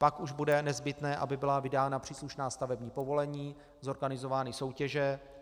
Pak už bude nezbytné, aby byla vydána příslušná stavební povolení, zorganizovány soutěže.